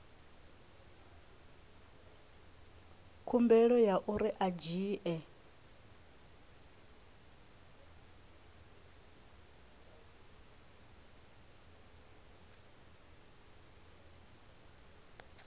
khumbelo ya uri a dzhie